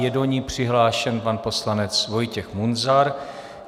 Je do ní přihlášen pan poslanec Vojtěch Munzar.